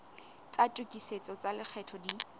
tsa tokisetso tsa lekgetho di